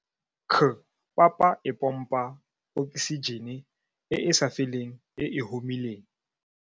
CPAPA e pompa oksijene e e sa feleng e e humileng.